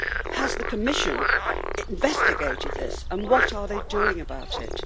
Has the Commission investigated this, and what are they doing about it?